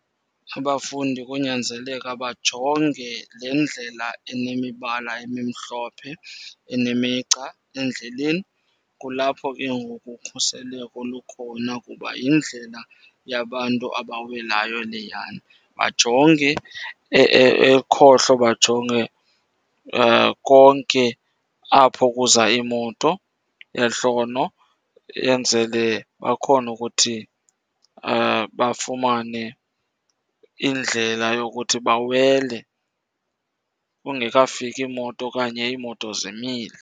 Abafundi konyanzeleka bajonge le ndlela enemibala emimhlophe enemigca endleleni. Kulapho ke ngoku ukhuseleko lukhona kuba yindlela yabantu abawelayo leyana. Bajonge ekhohlo, bajonge konke apho kuza iimoto, ehlono, enzele bakhone ukuthi bafumane indlela yokuthi bawele kungekafiki moto okanye iimoto zimile.